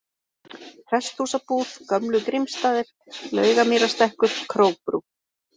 Presthúsabúð, Gömlu-Grímsstaðir, Laugamýrarstekkur, Krókbrú